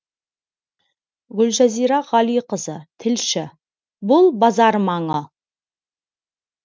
гүлжазира ғалиқызы тілші бұл базар маңы